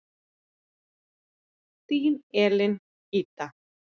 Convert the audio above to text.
Þín, Elín Ida.